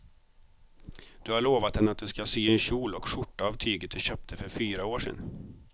Du har lovat henne att du ska sy en kjol och skjorta av tyget du köpte för fyra år sedan.